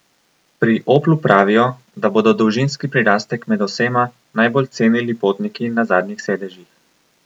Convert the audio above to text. Pri Oplu pravijo, da bodo dolžinski prirastek med osema najbolj cenili potniki na zadnjih sedežih.